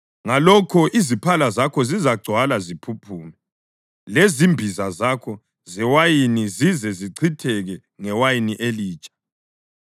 ngalokho iziphala zakho zizagcwala ziphuphume, lezimbiza zakho zewayini zize zichitheke ngewayini elitsha.